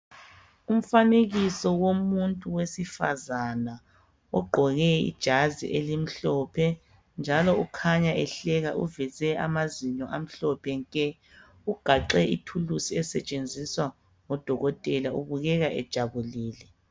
Umfanekiso womuntu wesifazana. Ogqoke ijazi elimhlophe, njalo ukhanya ehleka. Uveze amazinyo amhlophe nke! Ugaxe ithuluzi esetshenziswa ngodokotela. Ubukeka ejabulile.